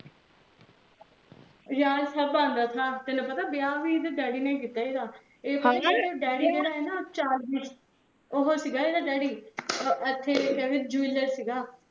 ਯਾਰ ਸਾਬ ਬਹਾਨਾ ਥਾਂ ਯਾਰ ਤੈਨੂ ਪੀਆ ਵਿਆਹ ਵੀ ਇਹਦੇ ਵਿਆਹ ਨੇ ਹੀ ਕੀਤਾ ਏਹਦਾ ਓਹ ਸੀਗਾ ਏਹਦਾ ਡੇਡੀ ਇਥੇ ਕਹੰਦੇ jeweler ਸੀਗਾ